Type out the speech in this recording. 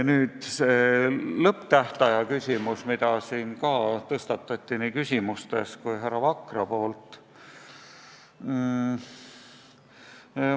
Nüüd see lõpptähtaja küsimus, mida siin tõstatati nii küsimustes kui ka härra Vakra poolt.